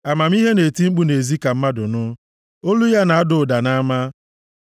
Amamihe na-eti mkpu nʼezi ka mmadụ nụ. Olu ya na-ada ụda nʼama.